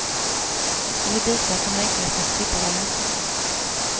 Eller bitar som längtade efter att slippa vara ensamma.